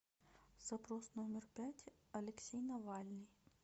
запрос номер пять алексей навальный